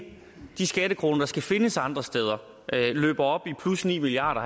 de skattekroner der skal findes andre steder løber op i plus ni milliard